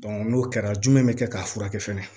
n'o kɛra jumɛn bɛ kɛ k'a furakɛ fɛnɛ